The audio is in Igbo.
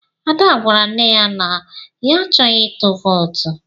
Ada gwara nne ya na ya achọghị ịtụ vootu.